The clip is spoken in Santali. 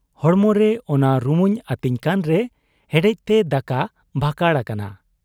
ᱦᱚᱲᱢᱚᱨᱮ ᱚᱱᱟ ᱨᱩᱢᱩᱧ ᱟᱹᱛᱤᱧ ᱠᱟᱱᱨᱮ ᱦᱮᱰᱮᱡᱛᱮ ᱫᱟᱠᱟ ᱵᱷᱟᱠᱟᱲ ᱟᱠᱟᱱᱟ ᱾